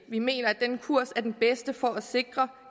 vi mener at den kurs er den bedste for at sikre